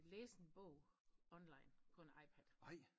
Læse en bog online på en iPad